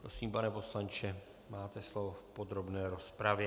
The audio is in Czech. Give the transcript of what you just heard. Prosím, pane poslanče, máte slovo v podrobné rozpravě.